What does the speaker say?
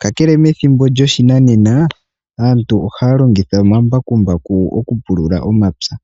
kakele methimbo lyoshinanena aatu ohaya longitha omambakumbaku okupulula omapya.